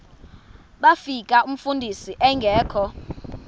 bafika umfundisi engekho